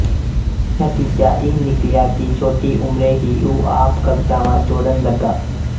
ਨਤੀਜਾ ਇਹ ਨਿਕਲਿਆ ਕਿ ਛੋਟੀ ਉਮਰੇ ਹੀ ਉਹ ਆਪ ਕਵਿਤਾਵਾਂ ਜੋੜਨ ਲੱਗਾ